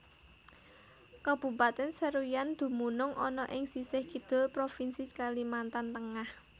Kabupatèn Seruyan dumunung ana ing sisih Kidul Provinsi Kalimantan Tengah